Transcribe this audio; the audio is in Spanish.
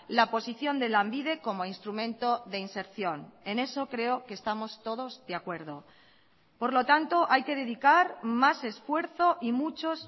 la posición de lanbide como instrumento de inserción en eso creo que estamos todos de acuerdo por lo tanto hay que dedicar más esfuerzo y muchos